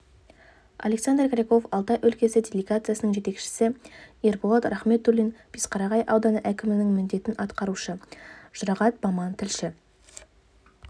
александр кряков алтай өлкесі делегациясының жетекшісі ерболат рахметуллин бесқарағай ауданы әкімінің міндетін атқарушы жұрағат баман тілші